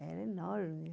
Era enorme.